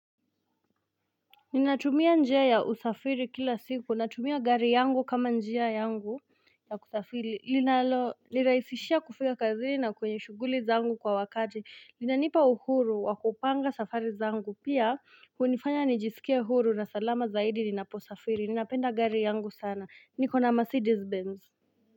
Ninatumia njia ya usafiri kila siku, natumia gari yangu kama njia yangu ya kusafiri, inaloni rahisishia kufika kazini na kwenye shughuli zangu kwa wakati, linanipa uhuru wakupanga safari zangu, pia kunifanya nijisikie uhuru na salama zaidi ninaposl safiri, ninapenda gari yangu sana, niko na Mercedes Benz.